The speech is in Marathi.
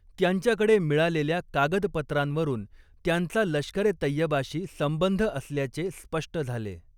त्यांच्याकडे मिळालेल्या कागदपत्रांवरून त्यांचा लष्करे तैयबाशी संबंध असल्याचे स्पष्ट झाले.